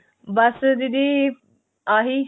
ਬੱਸ ਦੀਦੀ ਆਹੀ